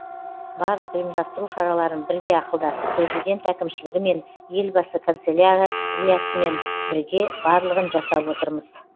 барлық ұйымдастыру шараларын бірге ақылдасып президент әкімшілігімен елбасы канцеляриясымен бірге барлығын жасап отырмыз